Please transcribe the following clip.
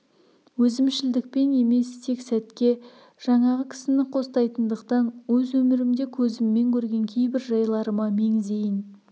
өзімшілдікпен емес тек сәтке жаңағы кісіні қостайтындықтан өз өмірімде көзіммен көрген кейбір жайларыма меңзейін